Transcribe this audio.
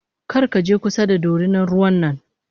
Karkaje kusa da dorinan ruwan nan m